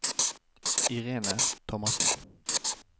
Irene Thomassen